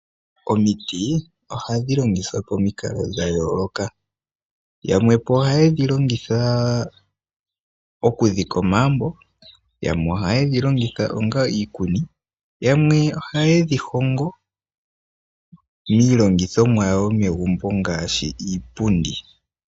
Omiti ohadhi longithwa momikalo dha yooloka. Aantu yamwe oha ye dhi longitha okudhika omagumbo, yamwe ohaye dhi lomgitha onga iikuni, yamwe oha ye dhi hongo iilongithomwa yawo yomegumbo ngaashi iipundi.